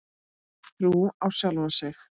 Trú á sjálfan sig.